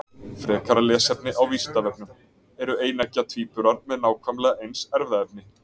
Frekara lesefni á Vísindavefnum: Eru eineggja tvíburar með nákvæmlega eins erfðaefni?